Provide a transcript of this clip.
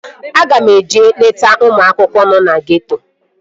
Aga m eje leta ụmụaka nọ na geeto